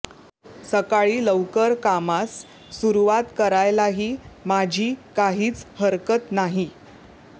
सकाळी लवकर कामास सुरुवात करायलाही माझी काहीच हरकत नाही